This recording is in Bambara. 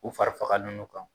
U fari fagalen don u kan.